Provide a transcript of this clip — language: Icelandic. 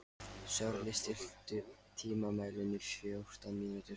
Sörli, stilltu tímamælinn á fjórtán mínútur.